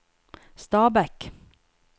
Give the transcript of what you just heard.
Stabekk